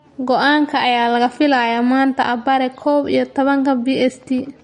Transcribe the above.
Go'aanka ayaa la filayaa maanta abbaare kow iyo tobanka BST.